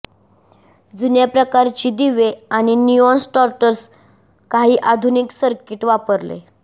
जुन्या प्रकारची दिवे आणि निऑन स्टार्टर काही आधुनिक सर्किट वापरले